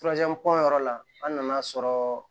yɔrɔ la an nana sɔrɔ